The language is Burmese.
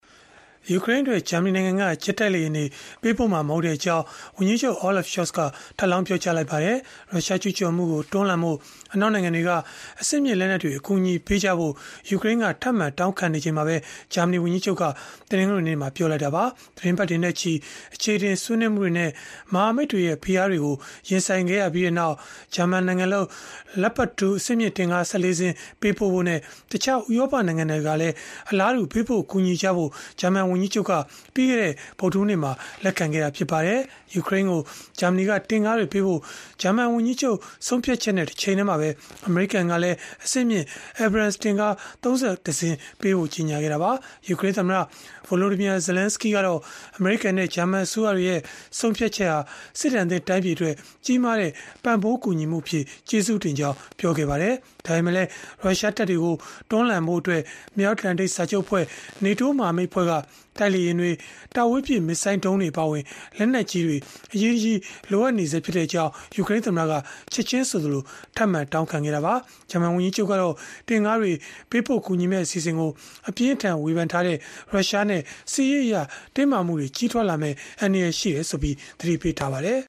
ယူကရိန်းအတွက် ဂျာမနီနိုင်ငံက ဂျက်တိုက်လေယာဉ်တွေ ပေးပို့မှာ မဟုတ်ကြောင်း ဝန်ကြီးချုပ် Olaf Scholz က ထပ်လောင်း ပြောကြားလိုက်ပါတယ်။ ရုရှားကျုးကျော်မှုကိုတွန်းလှန်ဖို့ အနောက်နိုင်ငံတွေက အဆင့်မြင့်လက်နက်တွေ အကူအညီပေးကြဖို့ ယူကရိန်းက ထပ်မံတောင်းခံနေချိန်မှာပဲ ဂျာမနီဝန်ကြီးချုပ်က တနင်္ဂနွေနေ့မှာ ပြောလိုက်တာပါ။ သီတင်းပတ်တွေနဲ့ချီ အခြေအတင် ဆွေးနွေးမှုတွေနဲ့ မဟာမိတ်တွေရဲ့ဖိအားတွေကို ရင်ဆိုင်ခဲ့ရပြီးနောက် ဂျာမန်နိုင်ငံလုပ် Leopard 2 အဆင့်မြင့်တင့်ကား ၁၄ စင်းပေးဖို့နဲ့ တခြားဥရောပနိုင်ငံတွေကလည်း အလားတူ ပေးပို့ကူညီဖို့ ဂျာမန်ဝန်ကြီးချုပ်က ပြီးခဲ့တဲ့ ဗုဒ္ဓဟူးနေ့မှာ လက်ခံခဲ့တာ ဖြစ်ပါတယ်။ ယူကရိန်းကို ဂျာမနီကတင့်ကားတွေပေးဖို့ ဂျာမန်ဝန်ကြီးချုပ်ရဲ့ဆုံးဖြတ်ချက်နဲ့ တချိန်တည်းမှာပဲ အမေရိကန်ကလည်း အဆင့်မြင့် Abrams တင့်ကား ၃၁ စင်း ပေးဖို့ကြေညာခဲ့တာပါ။ ယူကရိန်းသမ္မတ Volodymyr Zelenskyy ကတော့ အမေရိကန်နဲ့ ဂျာမန်အစိုးရတွေရဲ့ ဆုံးဖြတ်ချက်ဟာ စစ်ဒဏ်သင့်တိုင်းပြည်အတွက် ကြီးမားတဲ့ပံ့ပိုးကူညီမှုအဖြစ် ကျေးဇူးတင်ကြောင်း ပြောခဲ့ပါတယ်။ ဒါပေမဲ့လည်း ရုရှားတပ်တွေကို တွန်းလှန်ဖို့အတွက် မြောက်အတ္တလန်တိတ်စာချုပ်အဖွဲ့ (NATO) မဟာမိတ်အဖွဲ့ကို တိုက်လေယာဉ်တွေ၊ တာဝေးပစ် မစ်ဇိုင်းဒုံးတွေအပါအဝင် လက်နက်ကြီးတွေ အရေးတကြီး လိုအပ်ကြောင်း ယူကရိန်းသမ္မတက ချက်ခြင်းဆိုသလို ထပ်မံတောင်းခံခဲ့တာပါ။ ဂျာမန်ဝန်ကြီးချုပ်ကတော့ တင့်ကားတွေ ပေးပို့ကူညီမယ့် အစီအစဉ်ကို အပြင်းအထန် ဝေဖန်ထားတဲ့ရုရှားနဲ့ စစ်ရေးအရ တင်းမာမှုတွေကြီးထွားလာမယ့် အန္တရာယ်ရှိကြောင်း သတိပေးခဲ့ပါတယ်